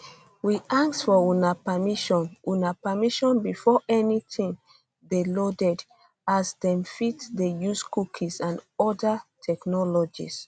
we ask for una permission una permission before anytin dey loaded as dem fit dey use cookies and oda technologies